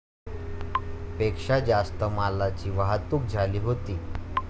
पेक्षा जास्त मालाची वाहतूक झाली होती.